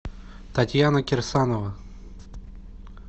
татьяна кирсанова